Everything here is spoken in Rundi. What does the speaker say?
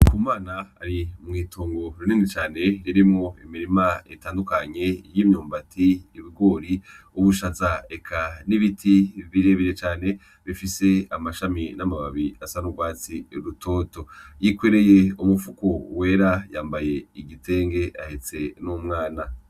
NDIKUMANA ari mwitongo rinini cane ririmwo imirima itandukanye y' imyumbati, ibigori, ubushaza eka n' ibiti bire bire cane bifise amashami n' amababi asa n' ugwatsi rutoto, yikoreye umufuko wera yambaye igitenge ahetse n' umwana.